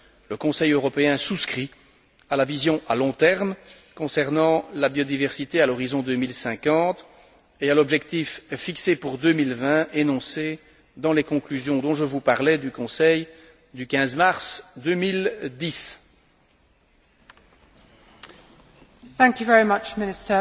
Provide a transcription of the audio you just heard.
Le Conseil européen souscrit à la vision à long terme concernant la biodiversité à l'horizon 2050 et à l'objectif fixé pour 2020 énoncé dans les conclusions du Conseil du 15 mars 2010 évoquées plus